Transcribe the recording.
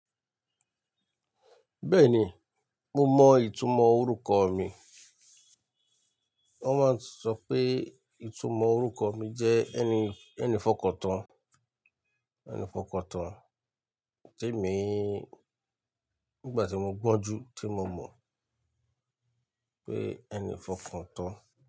Bẹ́ẹ̀ni, mo mọ ìtumọ̀ orúkọ mi. Wọ́n máa ń sọ pé ìtumọ̀ orúkọ mi jẹ́ ẹni, ẹni f'ọkàn tán, ẹni f'ọkàn tán te mi, nígbà tí mo gbọ́njú tí mo mọ̀ pé ẹni f'ọkàn tán.